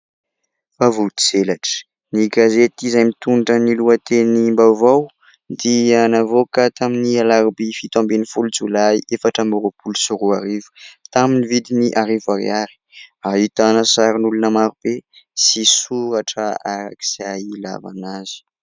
Vaovao tselatra! Ny gazety izay mitondra ny lohatenim-baovao dia navoaka tamin'ny alarobia fito ambin'ny folo jolay efatra amby roapolo sy roa arivo tamin'ny vidiny arivo ariary. Ahitana sarin'olona maro be sy soratra arak'izay ilavana azy.